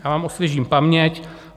Já vám osvěžím paměť.